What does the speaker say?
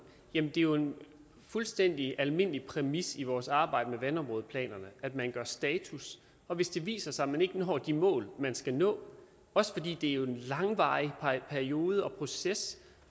jamen det er jo en fuldstændig almindelig præmis i vores arbejde med vandområdeplanerne at man gør status hvis det viser sig at man ikke når de mål man skal nå også fordi det jo er en langvarig periode og proces